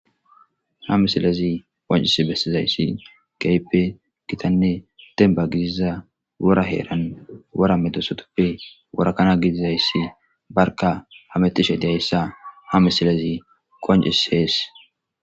ha misilezi qoncis bessizayssi gayppe gitanne tenba giziza wora heeran wora medosotoppe worakana gidizayssi barka hametishe deyayssa ha misilezi qonci sees